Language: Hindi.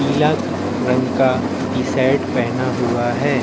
पीला रंग का टी शर्ट पहना हुआ है।